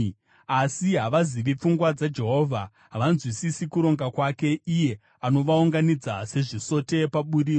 Asi havazivi pfungwa dzaJehovha; havanzwisisi kuronga kwake, iye anovaunganidza sezvisote paburiro.